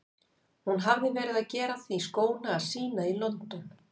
Hún hafði verið að gera því skóna að sýna í London.